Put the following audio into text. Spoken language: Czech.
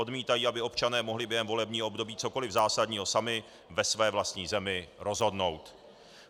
Odmítají, aby občané mohli během volebního období cokoli zásadního sami ve své vlastní zemi rozhodnout.